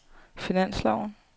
finansloven